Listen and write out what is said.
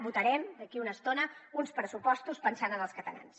votarem d’aquí a una estona uns pressupostos pensant en els catalans